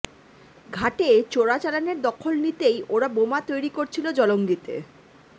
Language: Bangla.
ঘাটে চোরাচালানের দখল নিতেই ওরা বোমা তৈরি করছিল জলঙ্গিতে